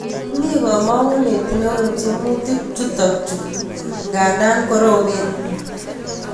Mii kamang'unet neo eng tiemutik chutak chuuk ngaa koromen